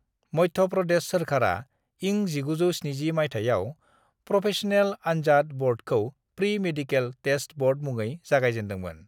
मध्य प्रदेश सोरखारा इं 1970 मायथाइयाव प्रफेश'नेल आन्जाद ब'र्डखौ प्रि मेडिकेल टेस्ट ब'र्ड मुङै जागायजेनदोंमोन।